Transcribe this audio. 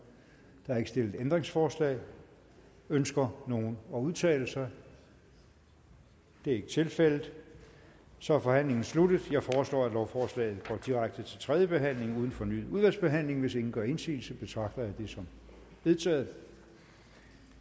er ikke stillet ændringsforslag ønsker nogen at udtale sig det er ikke tilfældet så er forhandlingen sluttet jeg foreslår at lovforslaget går direkte til tredje behandling uden fornyet udvalgsbehandling hvis ingen gør indsigelse betragter jeg det som vedtaget